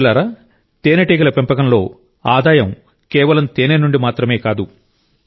మిత్రులారా తేనెటీగ పెంపకంలో ఆదాయం కేవలం తేనె నుండి మాత్రమే కాదు